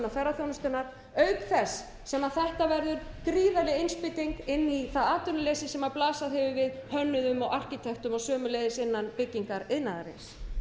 ferðaþjónustunnar auk þess sem þetta verður gríðarleg innspýting inn í það atvinnuleysi sem blasað hefur við hönnuðum og arkitektum og sömuleiðis innan byggingariðnaðarins